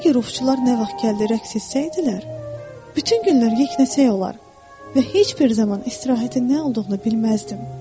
Əgər ovçular nə vaxt gəldi rəqs etsəydilər, bütün günlər yeknəsəy olar və heç bir zaman istirahətin nə olduğunu bilməzdim.